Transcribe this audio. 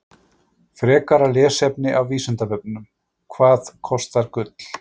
Frekara lesefni af Vísindavefnum: Hvað kostar gull?